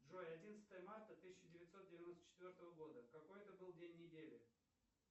джой одиннадцатое марта тысяча девятьсот девяносто четвертого года какой это был день недели